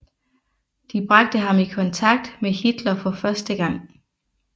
De bragte ham i kontakt med Hitler for første gang